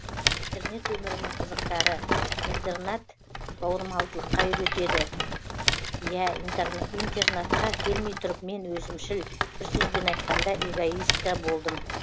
интернат өмірінің қызықтары интернат бауырмалдылыққа үйретеді иә интернатқа келмей тұрып мен өзімшіл бір сөзбен айтқанда эгоистка болдым